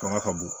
Fanga ka bon